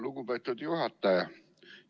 Lugupeetud juhataja!